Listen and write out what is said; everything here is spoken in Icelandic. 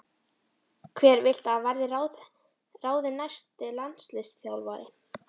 Hver viltu að verði ráðinn næsti landsliðsþjálfari?